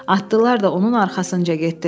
Atlılar da onun arxasınca getdilər.